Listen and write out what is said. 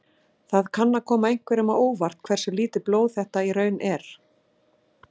Það kann að koma einhverjum á óvart hversu lítið blóð þetta í raun er.